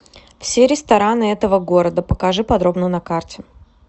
все рестораны этого города покажи подробно на карте